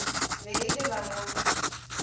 be e le ba ga